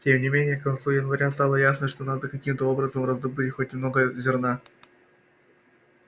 тем не менее к концу января стало ясно что надо каким-то образом раздобыть хоть немного зерна